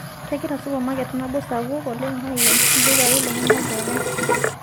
Kegira supamaket nabo sapuk oleng aiken ildukai lenyana pookin